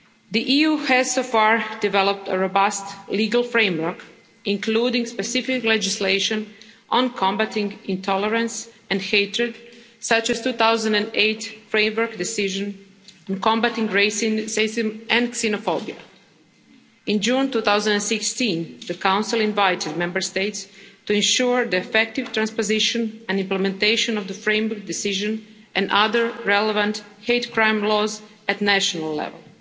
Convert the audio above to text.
The EU has so far developed a robust legal framework, including specific legislation on combating intolerance and hatred, such as the 2008 Framework Decision on combating racism and xenophobia. In June 2016, the Council invited Member States to ensure the effective transposition and implementation of the Framework Decision and other relevant hate crime laws at national level.